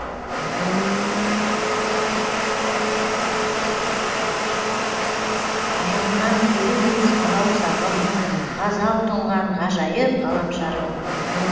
ажарынан көрінбес алау сағым ғазал тұнған ғажайып ғаламшарым